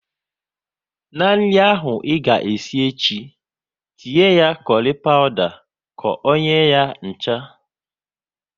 Na nri ahụ ị ga esi echi, tinye kurry pawuda ka ọ nye ya ncha!